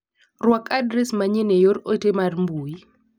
Ruak adres manyien e yor ote mar mbui.